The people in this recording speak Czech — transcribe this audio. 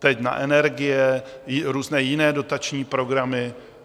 Teď na energie, různé jiné dotační programy.